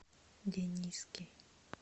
дениски